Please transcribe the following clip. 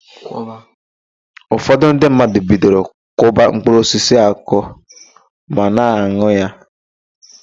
Ụfọdụ ndị mmadụ bidoro kwọba mkpụrụosisi akwọ ma na-an̄ụ ya.